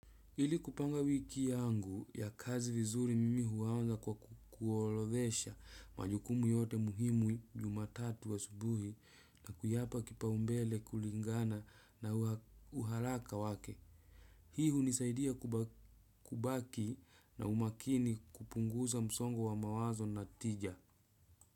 Ili kupanga wiki yangu ya kazi vizuri mimi huanza kwa kuorodhesha majukumu yote muhimu jumatatu asubuhi na kuyapa kipaumbele kulingana na uharaka wake. Hii hunisaidia kubaki na umakini kupunguza msongo wa mawazo na tija.